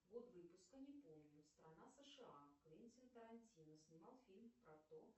год выпуска не помню страна сша квентин тарантино снимал фильм про то